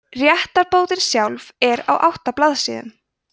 réttarbótin sjálf er á átta blaðsíðum